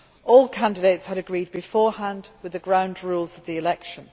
All candidates had agreed beforehand the ground rules of the election.